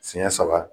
Siɲɛ saba